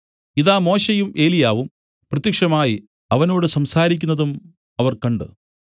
ഇതാ മോശെയും ഏലിയാവും പ്രത്യക്ഷമായി അവനോട് സംസാരിക്കുന്നതും അവർ കണ്ട്